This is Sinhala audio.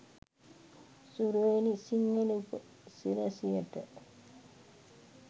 සුරේනි සිංහල උපසිරැසියට.